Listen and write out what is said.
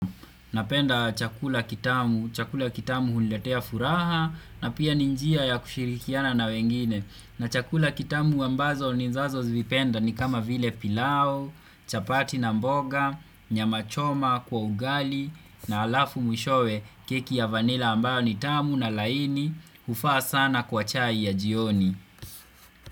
Napenda chakula kitamu, chakula kitamu huliletea furaha na pia ninjia ya kushirikiana na wengine. Na chakula kitamu ambazo ni nzazo zivipenda ni kama vile pilao, chapati na mboga, nyama choma kwa ugali na alafu mwishowe kiki ya vanila ambayo ni tamu na laini ufa sana kwa chai ya jioni.